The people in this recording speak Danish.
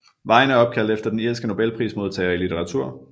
Vejen er opkaldt efter den irske nobelprismodtager i litteratur